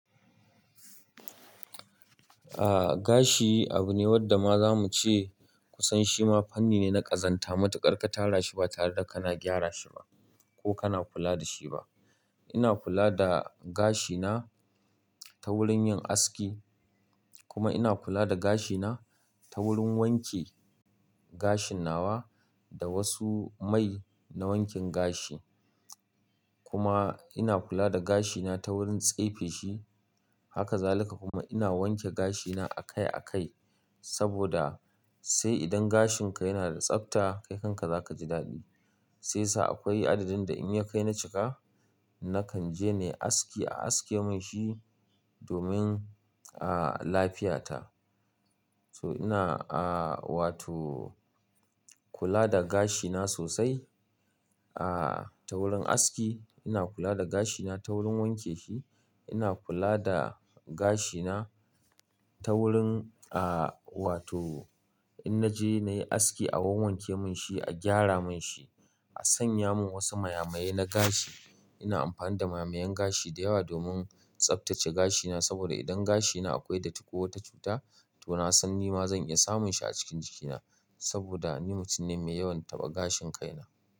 Ah, gashi abu ne wanda ma zamu ce kusan shi ma fanni ne na ƙazanta. Matu kar ka tara shi ba tare da kana gyara shi ba ko kana kula da shi ba. Ina kula da gashi na ta wurin yin aski kuma ina kula da gashi na ta wurin wanke gashin nawa da wasu mai na wankin gashi. Kuma ina kula da gashi na ta wurin tsefe shi. Haka zalika kuma ina wanke gashi na a kai a kai saboda sai idan gashin ka yana da tsafta kai kanka za ka ji daɗi. Sai sa akwai adadin da in ya kai na cika, na kan je nayi aski a aske mun shi domin, ah, lafiyata. To ina, ah, wato kula da gashi na sosai, ah, ta wurin aski ina kula da gashi na ta wurin wanke shi. Ina kula da gashi na ta wurin, ah, wato in na je na yi aski a wanke mun shi, a gyara mun shi, a sanya mun wasu maya-maye na gashi. Ina amfani da maya-mayan gashi da yawa domin tsaftace gashi na saboda idan gashi na akwai datti ko wata cuta to na san nima zan iya samun shi a cikin jikina saboda ni mutum ne mai yawan taɓa gashin kai na.